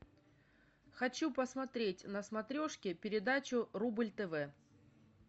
хочу посмотреть на смотрешке передачу рубль тв